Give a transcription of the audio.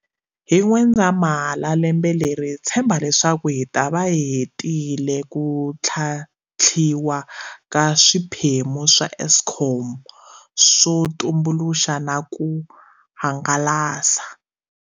Hi N'wendzamhala lembe leri hi tshemba leswaku hi ta va hi hetile ku tlhantlhiwa ka swiphemu swa Eskom swo tumbuluxa na ku hangalasa.